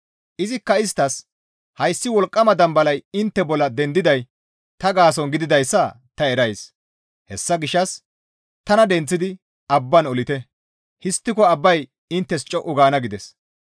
Izikka isttas, «Hayssi wolqqama dambalay intte bollan dendiday ta gaason gididayssa ta erays; hessa gishshas tana denththidi abban olite; histtiko abbay inttes co7u gaana» gides.